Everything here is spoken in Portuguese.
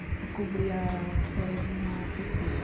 Fui cobria as férias de uma pessoa.